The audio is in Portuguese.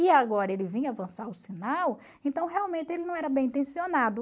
E agora ele vinha avançar o sinal, então realmente ele não era bem intencionado.